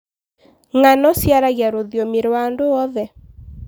Ng'ano ciaragia rũthiomi rwa andũ oothe.